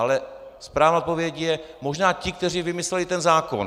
Ale správná odpověď je - možná ti, kteří vymysleli ten zákon.